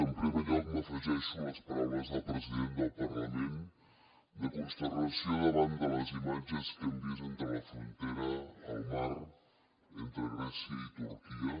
en primer lloc m’afegeixo a les paraules del president del parlament de consternació davant de les imatges que hem vist entre la frontera al mar entre grècia i turquia